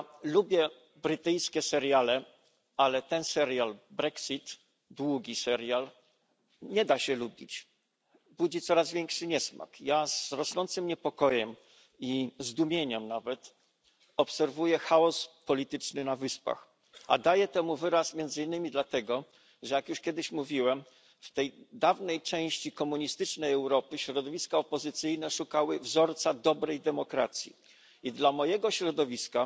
Lubię brytyjskie seriale, ale tego serialu brexit długiego serialu nie da się lubić, budzi coraz większy niesmak. Z rosnącym niepokojem i zdumieniem nawet obserwuję chaos polityczny na Wyspach, a daję temu wyraz między innymi dlatego, że jak już kiedyś mówiłem w tej dawnej części komunistycznej Europy środowiska opozycyjne szukały wzorca dobrej demokracji i dla mojego środowiska,